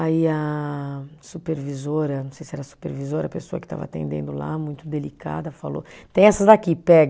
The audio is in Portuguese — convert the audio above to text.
Aí a supervisora, não sei se era supervisora, a pessoa que estava atendendo lá, muito delicada, falou, tem essas aqui, pega.